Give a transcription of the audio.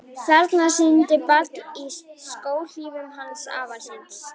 Þarna siglir barn í skóhlífum afa síns.